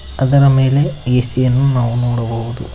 ಅದರ ಮೇಲೆ ಎ_ಸಿ ಯನ್ನು ನಾವು ನೋಡಬಹುದು.